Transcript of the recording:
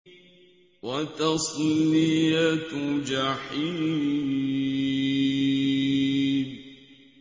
وَتَصْلِيَةُ جَحِيمٍ